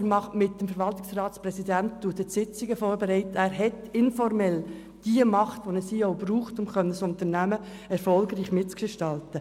Er bereitet mit dem Verwaltungsratspräsidenten die Sitzungen vor, er hat informell die Macht, die ein CEO braucht, um ein Unternehmen erfolgreich mitzugestalten.